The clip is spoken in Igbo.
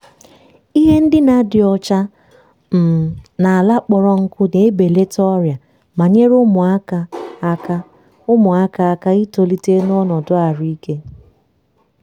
ihe ndina dị ọcha um na ala kpọrọ nkụ na-ebelata ọrịa ma nyere ụmụaka aka ụmụaka aka itolite n’ọnọdụ ahụike.